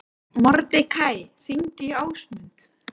Mordekaí, hringdu í Ásmund.